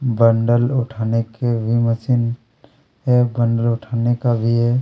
Bundle उठाने के भी मशीन हैं ऐ बन्डर उठाने का भी हैं।